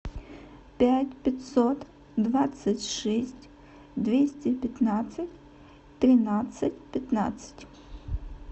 пять пятьсот двадцать шесть двести пятнадцать тринадцать пятнадцать